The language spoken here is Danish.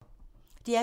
DR P3